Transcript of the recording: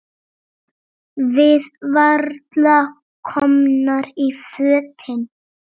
Við varla komnar í fötin.